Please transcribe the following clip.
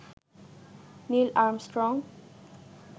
Neil Armstrong